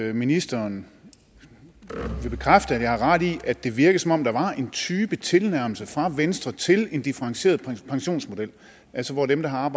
at ministeren vil bekræfte at jeg har ret i at det virker som om der var en type tilnærmelse fra venstre til en differentieret pensionsmodel altså hvor dem der har